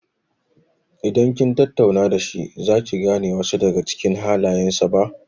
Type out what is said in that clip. Idan kin tattauna da shi za ki gane wasu daga cikin halayen sa ba.